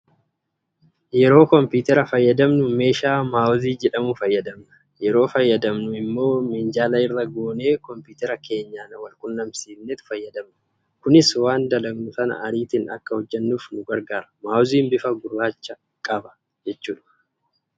Yeroo kompiitara fayyadamnu meeshaa maawozii jedhamu fayyadamna. Yeroo fayyadamnu immoo minjaala irra goonee kompiitarii keenyaan wal quunnamsiisneet fayyadamna. Kunis waan dalagnu sana ariitiin akka hojjennuuf nu gargaara. Maawoziin bifa gurracha qaba